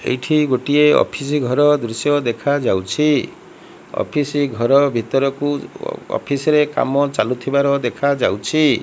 ଏଇଠି ଗୋଟିଏ ଅଫିସ ଘର ଦୃଶ୍ୟ ଦେଖାଯାଉଛି ଅଫିସ ଘର ଭିତରକୁ ଅଫିସ ରେ କାମ ଚାଲୁଥିବାର ଦେଖାଯାଉଛି।